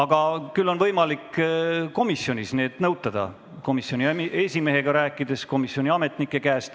Küll aga on võimalik neid dokumente komisjonist nõutada, rääkides komisjoni esimehega või küsides komisjoni ametnike käest.